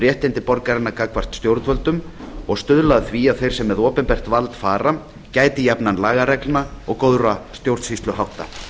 réttindi borgaranna gagnvart stjórnvöldum og stuðla að því að þeir sem með opinbert vald fara gæti jafnan lagareglna og góðra stjórnsýsluhátta